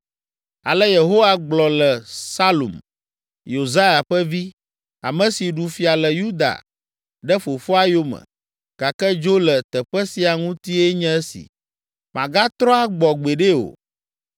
Ale Yehowa gblɔ le Salum, Yosia ƒe vi, ame si ɖu fia le Yuda ɖe fofoa yome, gake dzo le teƒe sia ŋutie nye esi: “Magatrɔ agbɔ gbeɖe o.